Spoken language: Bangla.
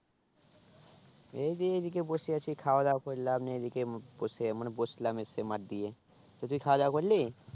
এই যে এই দিকে বসে আছি খাওয়া দাওয়া করলাম না এই দিকে বসে মানে বসলাম এসে মাঠ দিয়ে তো তুই খাওয়া দাওয়া করলি